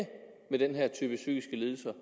med den her type psykiske lidelser